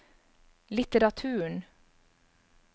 litteraturen